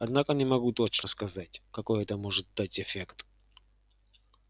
однако не могу точно сказать какой это может дать эффект